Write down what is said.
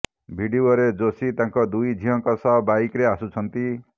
ଭିଡିଓରେ ଯୋଶୀ ତାଙ୍କ ଦୁଇ ଝିଅଙ୍କ ସହ ବାଇକରେ ଆସୁଛନ୍ତି